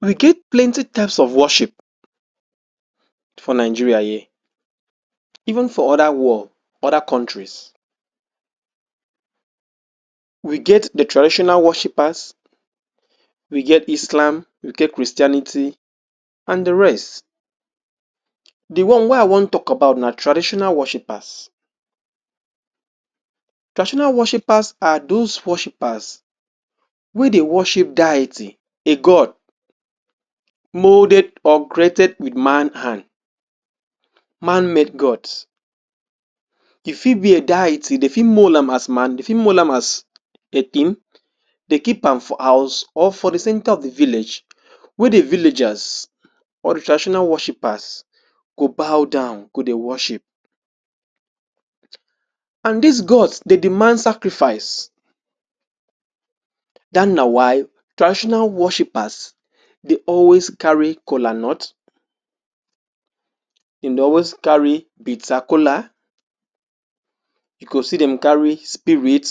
we get plenty types of worship for Nigeria here even for other world other countries we get the traditional worshipers we get islam, we get christianity and the rest the one wey i wan talk about na traditional worshipers traditional worshipers are those worshipers wey dey worship diety a god moulded or created with man hand man made God e fit be a diety the fit mould am as man, they fit mould am as a thing the keep am for house or for the center of village wey dey villagers or the traditional worshipers go bow down go dey worship and this Gods dey deman scarifice that's na why traditional worshipers dey always carry kolanut dem dey always carry bitter kola u go see dem carry spirit